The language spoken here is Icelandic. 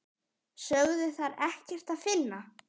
Sögðu þar ekkert að finna.